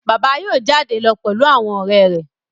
Bàbá yóò jáde lọ pẹ̀lú àwọn ọ̀rẹ́ rẹ̀